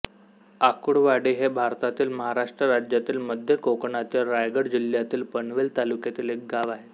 आकुळवाडी हे भारतातील महाराष्ट्र राज्यातील मध्य कोकणातील रायगड जिल्ह्यातील पनवेल तालुक्यातील एक गाव आहे